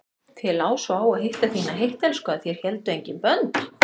Þér lá svo á að hitta þína heittelskuðu að þér héldu engin bönd.